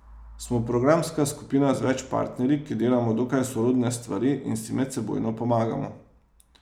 Smo programska skupina z več partnerji, ki delamo dokaj sorodne stvari in si medsebojno pomagamo.